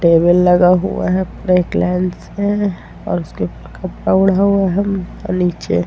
table लगा हुआ है है और उसके कपड़ा ओढ़ा हुआ है और नीचे --